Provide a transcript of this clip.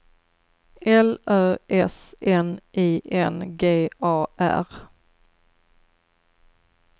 L Ö S N I N G A R